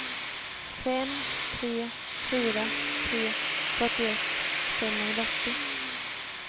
fem tre fyra tre fyrtioett femhundraåttio